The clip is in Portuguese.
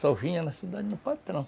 Só vinha na cidade no patrão.